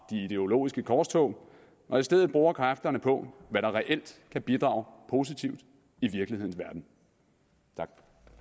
ideologiske korstog og i stedet bruger kræfterne på hvad der reelt kan bidrage positivt i virkelighedens verden tak